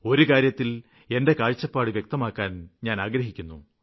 ഒരു കാര്യത്തില് എന്റെ കാഴ്ചപ്പാട് വ്യക്തമാക്കുവാന് ഞാന് ആഗ്രഹിക്കുന്നു